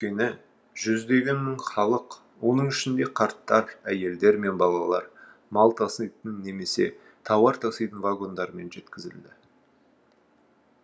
өйткені жүздеген мың халық оның ішінде қарттар әйелдер мен балалар мал таситын немесе тауар таситын вагондармен жеткізілді